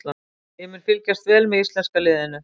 Ég mun fylgjast vel með íslenska liðinu.